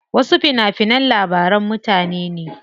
Wasu fina finan labaran mutane ne.